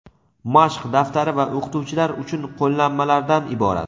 mashq daftari va o‘qituvchilar uchun qo‘llanmalardan iborat.